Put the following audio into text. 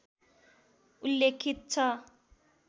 उल्लेखित छ